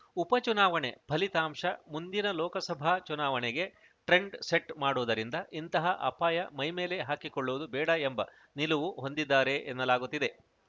ಉಪ ಚುನಾವಣೆ ಫಲಿತಾಂಶ ಮುಂದಿನ ಲೋಕಸಭಾ ಚುನಾವಣೆಗೆ ಟ್ರೆಂಡ್‌ ಸೆಟ್‌ ಮಾಡುವುದರಿಂದ ಇಂತಹ ಅಪಾಯ ಮೈಮೇಲೆ ಹಾಕಿಕೊಳ್ಳುವುದು ಬೇಡ ಎಂಬ ನಿಲುವು ಹೊಂದಿದ್ದಾರೆ ಎನ್ನಲಾಗುತ್ತಿದೆ